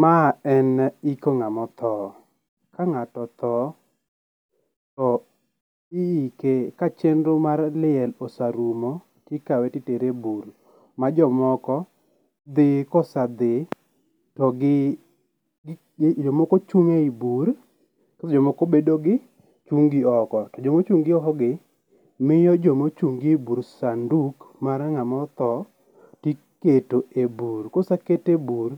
Ma en iko ng'ama otho. Ka ng'ato otho to iike ,ka chendro mar liel oserumo to ikawe itere e bur ma jomoko dhi ka osedhi to gi jomoko chung' e bur to jomoko bedo chung' gi oko, to jo ma ochung' gi oko gi, miyo joma ochung gi e bur sanduk mar ng'awa othoo to iketo e bur ka ose ket e bur